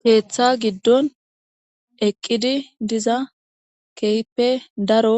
Ketha giidon eidi diza kehipe daro